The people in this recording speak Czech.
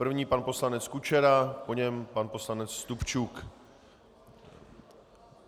První pan poslanec Kučera, po něm pan poslanec Stupčuk.